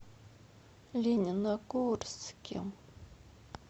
лениногорске